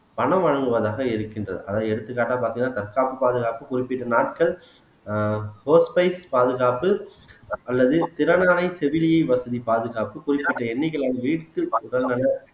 பணம் வழங்குவதாக இருக்கின்றது அதாவது எடுத்துக்காட்டா பாத்தீங்கன்னா தற்காப்பு பாதுகாப்பு குறிப்பிட்ட நாட்கள் ஆஹ் பாதுகாப்பு அல்லது திறனான செவிலியர் வசதி பாதுகாப்பு குறிப்பிட்ட எண்ணிக்கையிலான